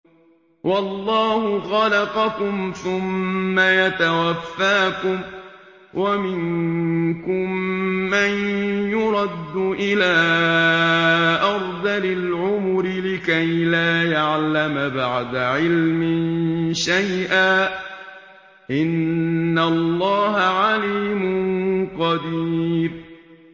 وَاللَّهُ خَلَقَكُمْ ثُمَّ يَتَوَفَّاكُمْ ۚ وَمِنكُم مَّن يُرَدُّ إِلَىٰ أَرْذَلِ الْعُمُرِ لِكَيْ لَا يَعْلَمَ بَعْدَ عِلْمٍ شَيْئًا ۚ إِنَّ اللَّهَ عَلِيمٌ قَدِيرٌ